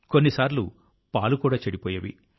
కొన్నిసార్లు పాలు కూడా చెడిపోయేవి